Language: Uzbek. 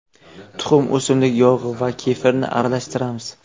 Tuxum, o‘simlik yog‘i va kefirni aralashtiramiz.